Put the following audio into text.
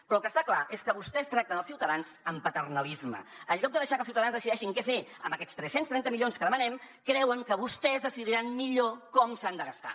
però el que està clar és que vostès tracten els ciutadans amb paternalisme en lloc de deixar que els ciutadans decideixin què fer amb aquests tres cents i trenta milions que demanem creuen que vostès decidiran millor com s’han de gastar